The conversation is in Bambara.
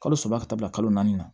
Kalo saba ka taa bila kalo naani na